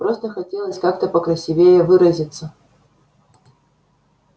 просто хотелось как-то покрасивее выразиться